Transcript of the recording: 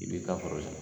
I b'i ka foro san